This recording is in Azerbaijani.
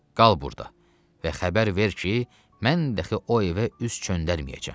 Qal burda və xəbər ver ki, mən dəxi o evə üz çöndərməyəcəm.